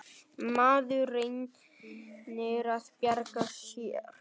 Maður reynir að bjarga sér.